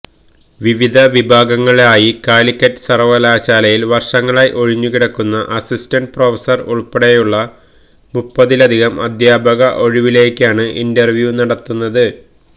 വിവിധ വിഭാഗങ്ങളിലായി കാലിക്കറ്റ് സര്വകലാശാലയില് വര്ഷങ്ങളായി ഒഴിഞ്ഞുകിടക്കുന്ന അസിസ്റ്റന്റ് പ്രൊഫസര് ഉള്പ്പെടെയുള്ള മുപ്പതിലധികം അധ്യാപക ഒഴിവിലേക്കാണ് ഇന്റര്വ്യൂ നടത്തുന്നത്